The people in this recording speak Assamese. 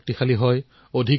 আহক আমি ইয়াৰ বাবে প্ৰয়াস কৰো